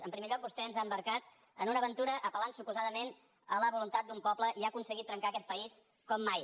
en primer lloc vostè ens ha embarcat en una aventura apel·lant suposadament a la voluntat d’un poble i ha aconseguit trencar aquest país com mai